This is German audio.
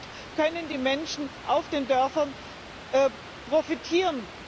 Und davon können die Menschen auf den Dörfern profitieren.